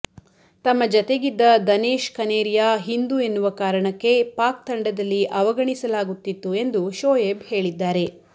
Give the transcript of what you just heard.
ತಮ್ಮ ಜತೆಗಿದ್ದ ದನೇಶ್ ಕನೇರಿಯಾ ಹಿಂದೂ ಎನ್ನುವ ಕಾರಣಕ್ಕೆ ಪಾಕ್ ತಂಡದಲ್ಲಿ ಅವಗಣಿಸಲಾಗುತ್ತಿತ್ತು ಎಂದು ಶೊಯೇಬ್ ಹೇಳಿದ್ದಾರೆ